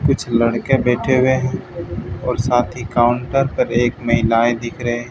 कुछ लड़के बैठे हुए हैं और साथ ही काउंटर पर एक महिलाएं दिख रहे--